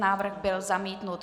Návrh byl zamítnut.